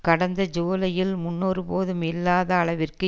கடந்த ஜூலையில் முன்னொருபோதும் இல்லாத அளவிற்கு